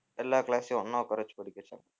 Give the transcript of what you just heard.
எல்லா class ஐயும் ஒண்ணா உட்காரவெச்சு படிக்கவெச்சது